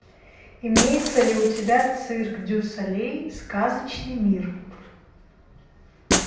имеется ли у тебя цирк дю солей сказочный мир